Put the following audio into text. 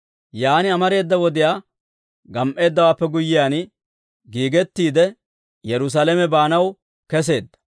Yaan amareeda wodiyaa gam"eeddawaappe guyyiyaan, giigettiide Yerusaalame baanaw keseedda.